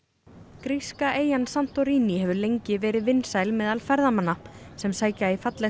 gríska eyjan Santorini hefur lengi verið vinsæl meðal ferðamanna sem sækja í fallegt